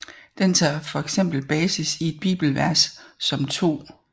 Den tager fx basis i et bibelvers som 2